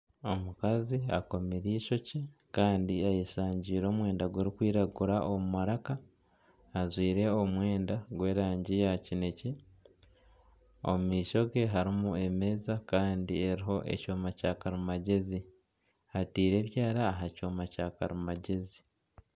Omukazi akomire eishokye Kandi ayeshangiire omwenda gurikwiragura omu maraka ,ajwaire omwenda gw'erangi ya kinekye ,omu maisho gye harimu emeeza Kandi eriho ekyoma kya karimagyezi ataireho ebyaara aha kyoma kya karimagyezi.